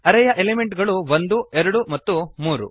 ಅರೇ ಯ ಎಲಿಮೆಂಟ್ ಗಳು ಒಂದು ಎರಡು ಮತ್ತು ಮೂರು